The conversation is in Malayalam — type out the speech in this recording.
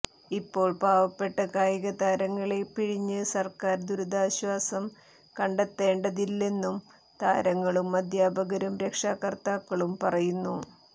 ഇപ്പോൾ പാവപ്പെട്ട കായികതാരങ്ങളെ പിഴിഞ്ഞ് സർക്കാർ ദുരിതാശ്വാസം കണ്ടെത്തേണ്ടതില്ലെന്നും താരങ്ങളും അദ്ധ്യാപകരും രക്ഷകർത്താക്കളും പറയുന്നു